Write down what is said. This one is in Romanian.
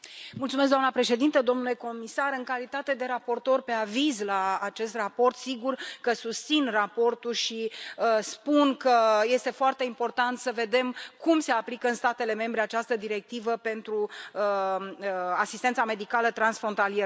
Doamnă președintă, domnule comisar, în calitate de raportor pentru aviz la acest raport, sigur că susțin raportul și spun că este foarte important să vedem cum se aplică în statele membre această directivă privind asistența medicală transfrontalieră.